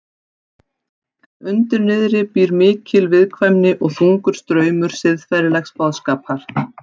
En undir niðri býr mikil viðkvæmni og þungur straumur siðferðilegs boðskapar.